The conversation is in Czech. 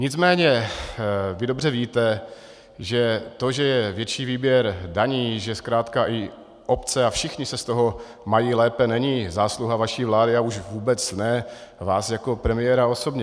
Nicméně vy dobře víte, že to, že je větší výběr daní, že zkrátka i obce a všichni se z toho mají lépe, není zásluha vaší vlády a už vůbec ne vás jako premiéra osobně.